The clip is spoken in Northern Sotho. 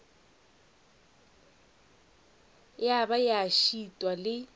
ya ba ya šitwa le